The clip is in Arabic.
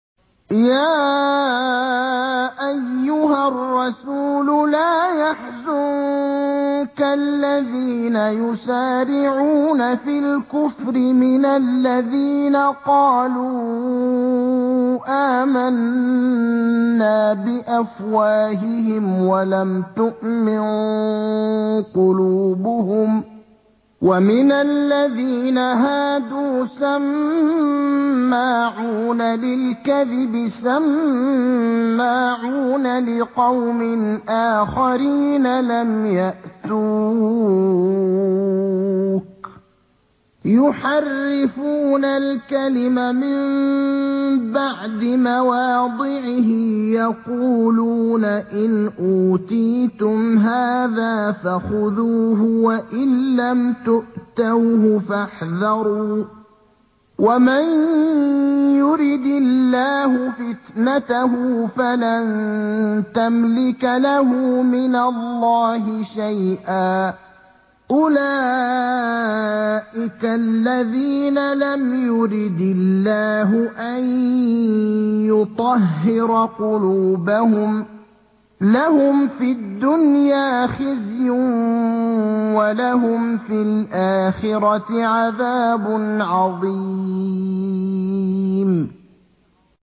۞ يَا أَيُّهَا الرَّسُولُ لَا يَحْزُنكَ الَّذِينَ يُسَارِعُونَ فِي الْكُفْرِ مِنَ الَّذِينَ قَالُوا آمَنَّا بِأَفْوَاهِهِمْ وَلَمْ تُؤْمِن قُلُوبُهُمْ ۛ وَمِنَ الَّذِينَ هَادُوا ۛ سَمَّاعُونَ لِلْكَذِبِ سَمَّاعُونَ لِقَوْمٍ آخَرِينَ لَمْ يَأْتُوكَ ۖ يُحَرِّفُونَ الْكَلِمَ مِن بَعْدِ مَوَاضِعِهِ ۖ يَقُولُونَ إِنْ أُوتِيتُمْ هَٰذَا فَخُذُوهُ وَإِن لَّمْ تُؤْتَوْهُ فَاحْذَرُوا ۚ وَمَن يُرِدِ اللَّهُ فِتْنَتَهُ فَلَن تَمْلِكَ لَهُ مِنَ اللَّهِ شَيْئًا ۚ أُولَٰئِكَ الَّذِينَ لَمْ يُرِدِ اللَّهُ أَن يُطَهِّرَ قُلُوبَهُمْ ۚ لَهُمْ فِي الدُّنْيَا خِزْيٌ ۖ وَلَهُمْ فِي الْآخِرَةِ عَذَابٌ عَظِيمٌ